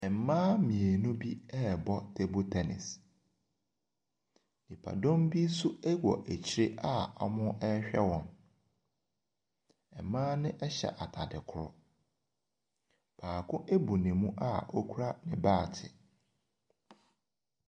Mmaa mmienu bi rebɔ table tennis. Nnipadɔm bi nso wɔ akyire a wɔrehwɛ wɔn. Mmaa no hyɛ ataade korɔ. Bako abu ne mu a okura baate.